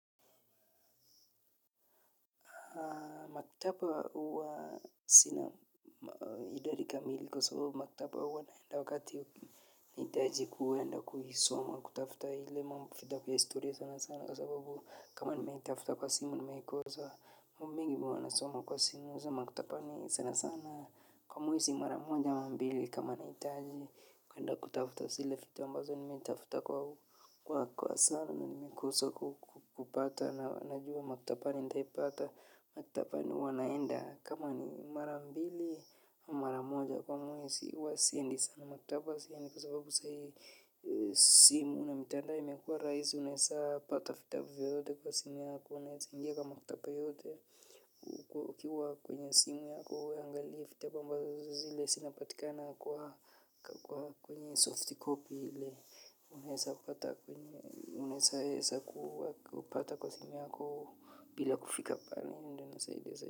Maktaba huwa sina idadi kamili kwa sababu maktaba huwa naenda wakati nahitaji kwenda kuisoma kutafuta ile mambo ya historia sana sana kwa sababu kama nimeitafuta kwa simu nimeikosa mingi mwa nasoma kwa simu za maktaba ni sana sana kwa mwezi mara monja mbili kama nahitaji kwenda kutafuta zile vitu amabazo nimeitafuta kwa sana na nimeikosa kupata na wanajua maktaba nitaipata makitaba ni huwa naenda kama ni mara mbili mara moja kwa mwezi huwa siendi sana makitaba siendi kwa sababu simu na mitandao imekuwa rahisi unaeza pata vitabu yote kwa simu yako unaeza ingia kwa makitaba yote ukiwa kwenye simu yako uangaliye vitabu ambazo zile zinapatikana kwenye soft copy unaeza kupata kwa simu yako bila kufika pale ndo inasaidia zaidi.